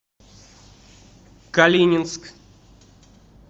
калининск